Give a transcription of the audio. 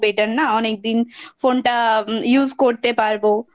Better না, অনেকদিন Phone টা Use করতে পারবো